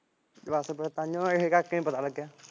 ਬਸ ਫਿਰ ਤਾਹੀਂਓ ਇਸ ਕਰਕੇ ਪਤਾ ਨੀ ਲੱਗਿਆ ਫਿਰ